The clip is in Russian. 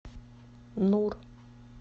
нур